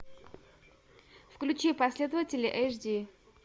включи последователи эш ди